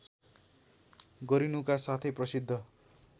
गरिनुका साथै प्रसिद्ध